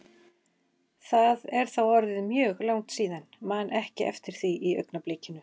Það er þá orðið mjög langt síðan, man ekki eftir því í augnablikinu.